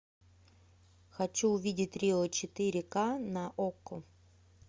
хочу увидеть рио четыре ка на окко